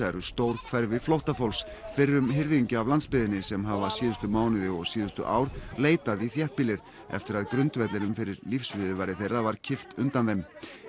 eru stór hverfi flóttafólks fyrrum hirðingja af landsbyggðinni sem hafa síðustu mánuði og síðustu ár leitað í þéttbýlið eftir að grundvellinum fyrir lífsviðurværi þeirra var kippt undan þeim